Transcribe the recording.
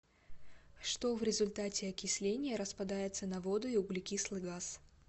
что в результате окисления распадается на воду и углекислый газ